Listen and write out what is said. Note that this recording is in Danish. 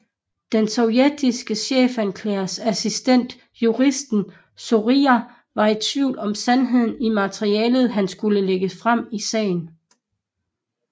Den sovjetiske chefanklagers assistent juristen Zorija var i tvivl om sandheden i materialet han skulle lægge frem i sagen